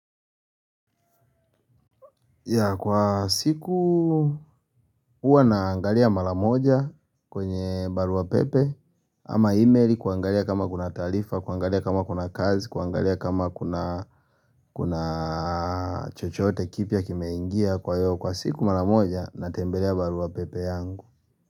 Ya kwa siku huwa na angalia mara moja kwenye barua pepe ama emaili kuangalia kama kuna taarifa, kuangalia kama kuna kazi, kuangalia kama kuna chochote kipya kimeingia kwa siku mara moja natembelea barua pepe yangu.